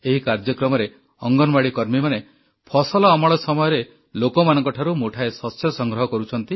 ଏହି କାର୍ଯ୍ୟକ୍ରମରେ ଅଙ୍ଗନବାଡ଼ି କର୍ମୀମାନେ ଫସଲ ଅମଳ ସମୟରେ ଲୋକମାନଙ୍କଠାରୁ ମୁଠାଏ ଶସ୍ୟ ସଂଗ୍ରହ କରୁଛନ୍ତି